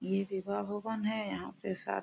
ये विवाह भवन हैयहाँ पे शा--